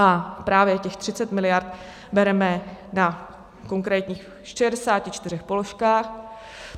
A právě těch 30 miliard bereme na konkrétních 64 položkách.